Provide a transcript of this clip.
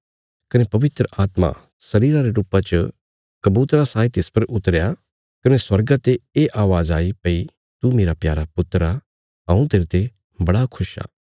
कने पवित्र आत्मा शरीर रे रुपा च कबूतरा साई तिस पर उतरया कने स्वर्गा ते ये अवाज़ आई भई तू मेरा प्यारा पुत्र आ हऊँ तेरते बड़ा खुश आ